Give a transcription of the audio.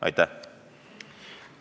Aitäh!